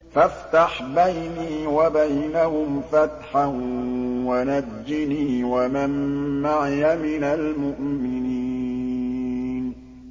فَافْتَحْ بَيْنِي وَبَيْنَهُمْ فَتْحًا وَنَجِّنِي وَمَن مَّعِيَ مِنَ الْمُؤْمِنِينَ